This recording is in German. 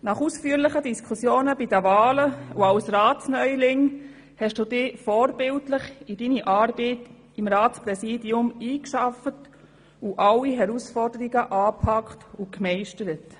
Nach ausführlichen Diskussionen bei der Wahl und als Ratsneuling hast du dich vorbildlich in deine Arbeit im Ratspräsidium eingearbeitet und alle Herausforderungen angepackt und gemeistert.